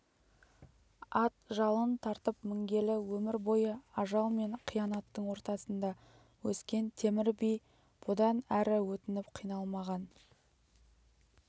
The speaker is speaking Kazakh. ат жалын тартып мінгелі өмір бойы ажал мен қиянаттың ортасында өскен темір би бұдан әрі өтініп қиналмаған